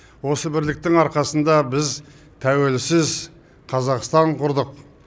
осы бірліктің арқасында біз тәуелсіз қазақстан құрдық